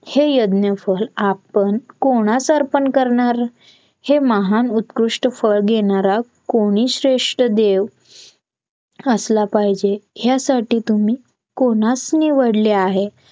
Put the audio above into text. हे यज्ञ फळ आपण कोणास अर्पण करणार? हे महान उत्कृष्ट फळ घेणारा कोणी श्रेष्ठ देव असला पाहिजेत. ह्यासाठी तुम्ही कोणास निवडले आहे?